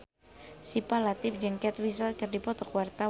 Syifa Latief jeung Kate Winslet keur dipoto ku wartawan